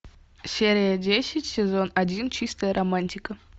серия десять сезон один чистая романтика